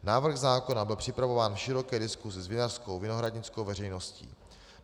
Návrh zákona byl připravován v široké diskuzi s vinařskou vinohradnickou veřejností.